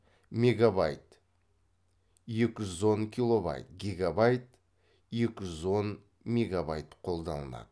мегабайт екі жүз он килобайт гигабайт екі жүз он мегабайт қолданылады